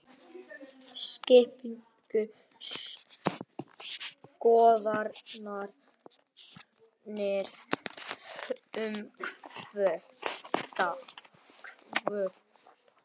Skiptar skoðanir um kvóta